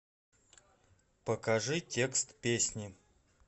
покажи текст песни